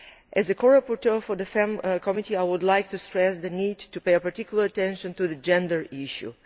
As a co rapporteur for the FEMM Committee, I would like to stress the need to pay particular attention to the gender issue.